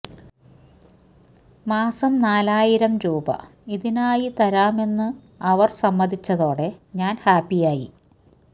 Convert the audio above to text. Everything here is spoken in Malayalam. മാസം നാലായിരം രൂപ ഇതിനായി തരാമെന്നു അവര് സമ്മതിച്ചതോടെ ഞാന് ഹാപ്പിയായി